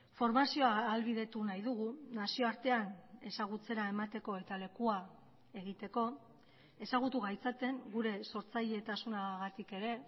formazioa ahalbidetu nahi dugu nazioartean ezagutzera emateko eta lekua egiteko ezagutu gaitzaten gure sortzailetasunagatik ere